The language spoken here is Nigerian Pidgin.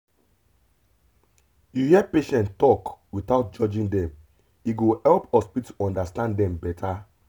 if you hear patient talk without judging dem e go help hospital understand dem better.